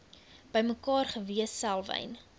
bymekaar gewees selwyn